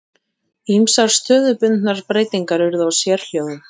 Ýmsar stöðubundnar breytingar urðu á sérhljóðum.